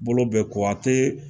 Bolo bɛ ko a tɛ